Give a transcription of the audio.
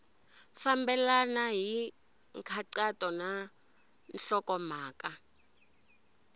fambelena hi nkhaqato na nhlokomhaka